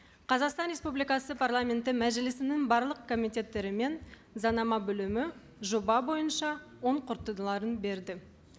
қазақстан республикасы парламенті мәжілісінің барлық комитеттері мен заңнама бөлімі жоба бойынша оң қорытындыларын берді